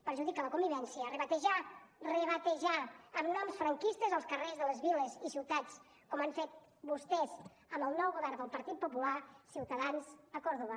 perjudica la convivència rebatejar rebatejar amb noms franquistes els carrers de les viles i ciutats com han fet vostès amb el nou govern del partit popular ciutadans a còrdova